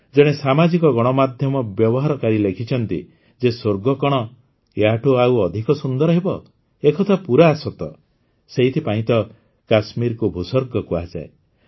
ଜଣେ ସାମାଜିକ ଗଣମାଧ୍ୟମ ବ୍ୟବହାରକାରୀ ଲେଖିଛନ୍ତି ଯେ ସ୍ୱର୍ଗ କଣ ଆଉ ଏହାଠୁ ଅଧିକ ସୁନ୍ଦର ହେବ ଏକଥା ପୂରା ସତ ସେଇଥିପାଇଁ ତ କାଶ୍ମୀରକୁ ଭୂସ୍ୱର୍ଗ କୁହାଯାଏ